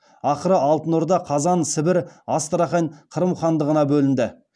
ақыры алтын орда қазан сібір астрахань қырым хандығына бөлінді